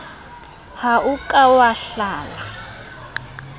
ha o ka wa hlala